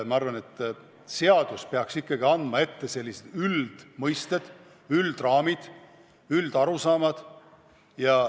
Ma arvan, et seadus peaks ikkagi fikseerima üldmõisted, üldraamid, üldarusaamad.